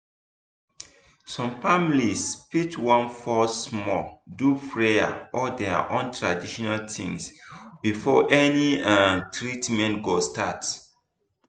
some families fit wan pause small do prayer or their own traditional thing before any um treatment go start.